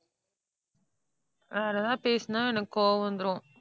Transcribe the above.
வேற ஏதாவது பேசினா எனக்கு கோபம் வந்துடும்.